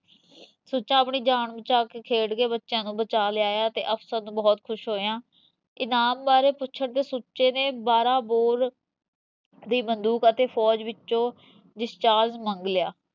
ਸੁੱਚਾ ਆਪਣੀ ਜਾਨ ਬਚਾ ਕੇ ਖੇਡ ਕੇ ਬੱਚਿਆ ਨੂੰ ਬਚਾ ਲਿਆਇਆ ਤੇ ਅਫਸਰ ਬਹੁਤ ਖੁਸ਼ ਹੋਇਆ ਇਨਾਮ ਬਾਰੇ ਪੁੱਛਣ ਤੇ ਸੁੱਚੇ ਨੇ ਬਾਰਾਂ ਬੋਰ ਦੀ ਬੰਦੂਕ ਅਤੇ ਫੌਜ ਵਿੱਚੋਂ discharge ਮੰਗ ਲਿਆ